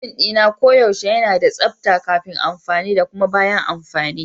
Kicina koyaushe yana da tsabta kafin amfani da kuma bayan amfani.